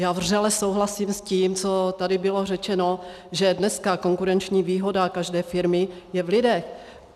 Já vřele souhlasím s tím, co tady bylo řečeno, že dneska konkurenční výhoda každé firmy je v lidech.